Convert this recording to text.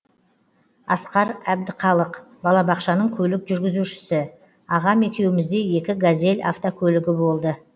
асқар әбдіқалық балабақшаның көлік жүргізушісі ағам екеумізде екі газель автокөлігі болды